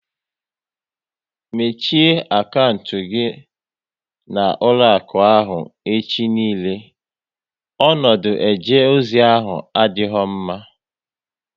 Mechie akantị gị na ụlọakụ ahụ echi niile! Ọnọdụ eje ozi ahụ adịghị mma